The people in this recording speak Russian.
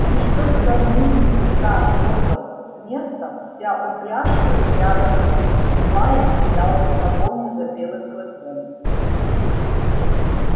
лишь только мит са трогал с места вся упряжка с яростным лаем кидалась в погоню за белым клыком